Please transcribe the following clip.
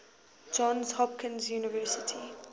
johns hopkins university